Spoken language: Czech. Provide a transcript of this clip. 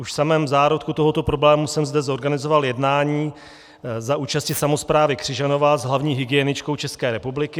Už v samém zárodku tohoto problému jsem zde zorganizoval jednání za účasti samosprávy Křižanova s hlavní hygieničkou České republiky.